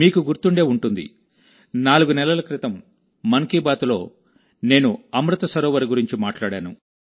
మీకు గుర్తుండే ఉంటుందినాలుగు నెలల క్రితం మన్ కీ బాత్లో నేను అమృత్ సరోవర్ గురించి మాట్లాడాను